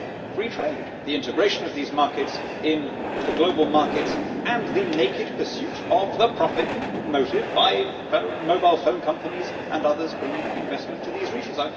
Free trade the integration of these markets into the global markets and the naked pursuit of profit by mobile phone companies and others bringing investment to these regions.